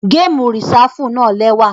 Gamu Risafu náa lẹwa.